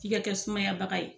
F'i ka kɛ sumaya baga ye.